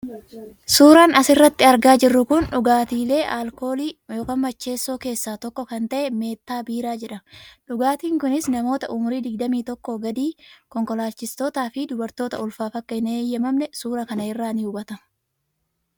Suuraan as irratti argaa jirru kun dhugaatiilee alkoolii (macheessoo) keessaa tokko kan ta'e 'Meettaa Biiraa' jedhama. Dhugaatiin kunis namoota umurii 21 gadii, konkolaachistootaa fi dubartoota ulfaaf akka hin eyyamamne suuraa kana irraa ni hubatama.